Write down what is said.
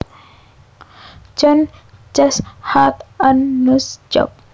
John just had a nose job